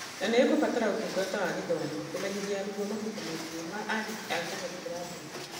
Na nĩ ikũbatara Ũtungata wa Gĩthomo kũmenyithia arutwo mabuku maingĩ ma andĩki a Kenya gũkĩra mbere.